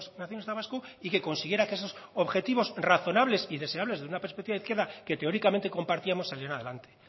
nacionalista vasco y que consiguiera que esos objetivos razonables y deseables desde una perspectiva de izquierda que teóricamente compartíamos saliera adelante